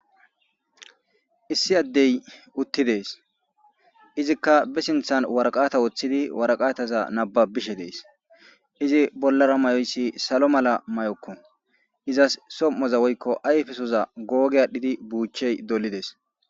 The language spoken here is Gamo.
Issi addey uutidi dess sinththan waaraqatta woththidi waaraqataza nabbabishe dess izzi bollara mayoyiss saalo maala mayyoko izassi som'oza woykko ayffesoza googi adhdhidi buuchchey doolidess.